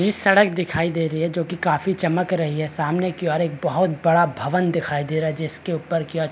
बीच सड़क दिखाई दे रही है जो कि काफी चमक रही है सामने कि और एक बहुत बड़ा भवन दिखाई दे रहा है जिसके ऊपर क्या --